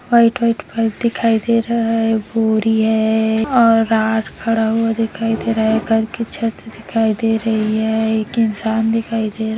white white pipe दिखाई दे रहा है बोरी है और राड खड़ा हुआ दिखाई दे रहा है घर की छत दिखाई दे रही है एक इंसान दिखाई दे रहा --